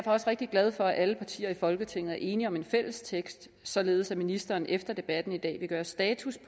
også rigtig glad for at alle partier i folketinget er enige om en fælles tekst således at ministeren efter debatten i dag vil gøre status